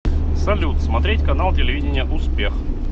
салют смотреть канал телевидения успех